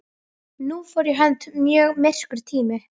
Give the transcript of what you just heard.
Hvað hélt hann að gestir væru?